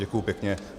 Děkuji pěkně.